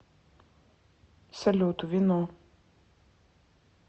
салют вино